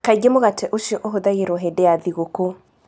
Kaingĩ mũgate ũcio ũhũthagĩrũo hĩndĩ ya thigũkũ.